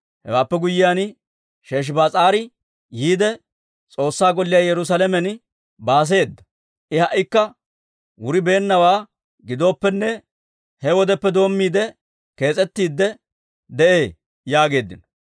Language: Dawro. Hewaappe guyyiyaan, Sheshibaas'aari yiide, S'oossaa Golliyaa Yerusaalamen baaseeda. I ha"ikka wuribeennawaa gidooppenne, he wodeppe doommiide, kees's'ettiidde de'ee› yaageeddino.